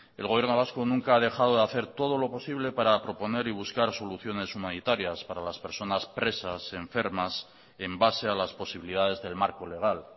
el gobierno vasco nunca ha dejado de hacer todo lo posible para proponer y buscar soluciones humanitarias para las personas presas enfermas en base a las posibilidades del marco legal